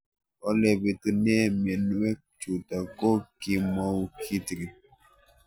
Ole pitune mionwek chutok ko kimwau kitig'�n